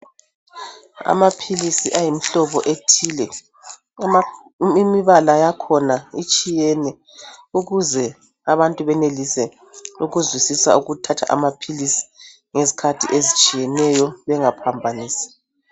Amaphilisi ayimihlobo ethile imibala yakhona itshiyene ukuze abantu benelise ukuzwisisa ukuthatha amaphilisi ngezikhathi ezitshiyeneyo bengaphambanisi.